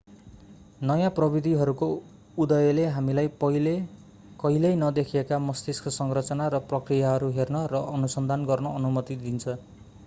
नयाँ प्रविधिहरूको उदयले हामीलाई पहिले कहिल्यै नदेखिएका मस्तिष्क संरचना र प्रक्रियाहरू हेर्न र अनुसन्धान गर्न अनुमति दिन्छ